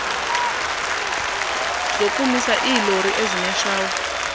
zokumisa iilori ezineshawa